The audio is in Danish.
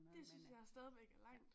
Dét synes jeg stadigvæk er langt